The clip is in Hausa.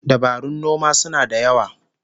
Dabarun noma suna da yawa